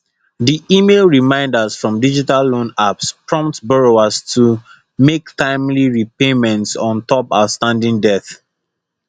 di email reminders from digital loan apps prompt borrowers to mek timely repayments on top outstanding debt